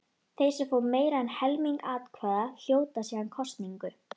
Þeir sem fá meira en helming atkvæða hljóta síðan kosningu.